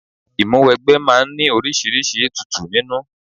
Ìmúwẹgbẹ́ máa ń ní oríṣiríṣi ètùtù nínú.